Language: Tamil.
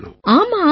ஆமா ஆமா